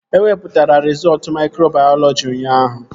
E wepụtara rizọọtu maikrobayọlọji ụnyaahụ